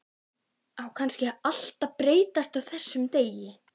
Á kannski allt að breytast á þessum degi.